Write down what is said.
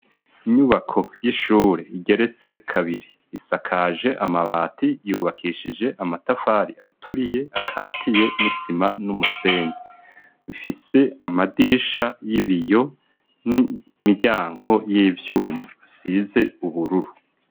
Inyubako y'ishure igeretse kabiri isakaje amabati yubakishije amatafari aturiye akatiye umutsima n'umusenge mfise amadirisha y'ibiyo n'imiryanko y'ivyuma asize ubururu.